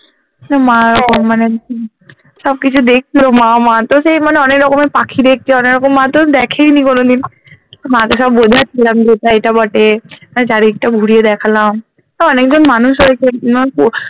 মা ওরকম মানে সবকিছু দেখলো মা আমার তো সেই মানে অনেক রকমের পাখি দেখছে অনেক রকম মা তো দেখেই নি কোনোদিন মা কে সব বোঝাচ্ছিলাম যে এটা এটা বটে আহ চারিদিকটা ঘুরিয়ে দেখালাম তো অনেকজন মানুষ হয়েছে